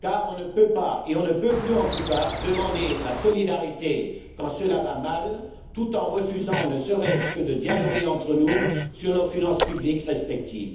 car on ne peut pas et on ne peut plus en tout cas demander la solidarité quand cela va mal, tout en refusant ne serait ce que de dialoguer entre nous sur nos finances publiques respectives.